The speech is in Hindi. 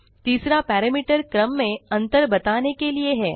तीसरा पैरामीटर क्रम में अंतर बताने के लिए है